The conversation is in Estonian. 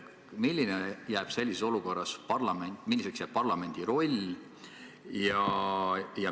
Milliseks jääb sellises olukorras parlamendi roll?